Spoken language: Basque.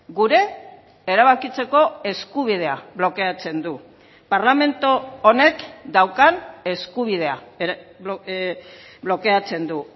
gure erabakitzeko eskubidea blokeatzen du parlamentu honek daukan eskubidea blokeatzen du